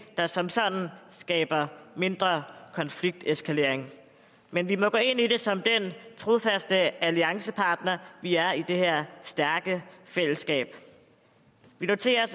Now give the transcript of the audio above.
der som sådan skaber mindre konflikteskalering men vi må gå ind i det som den trofaste alliancepartner vi er i det her stærke fællesskab vi noterer